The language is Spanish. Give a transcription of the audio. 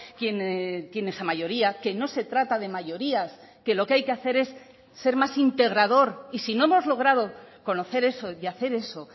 quién tiene esa mayoría que no se trata de mayorías que lo que hay que hacer es ser más integrador y si no hemos logrado conocer eso y hacer eso